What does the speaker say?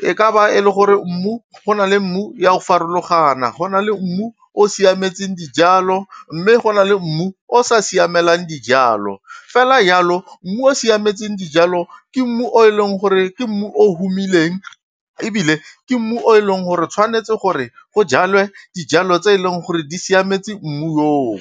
e ka ba e le gore mmu go na le mmu ya go farologana, go na le mmu o o siametseng dijalo mme go na le mmu o o sa siamelang dijalo. Fela jalo mmu o siametseng dijalo ke mmu o e leng gore ke mmu o humileng ebile ke mmu o e leng gore tshwanetse gore, go jalwe dijalo tse e leng gore di siametse mmu oo.